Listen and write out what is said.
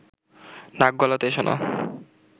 নাক গলাতে এসো না